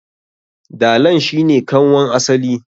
Dalan shi ne kanwan asali.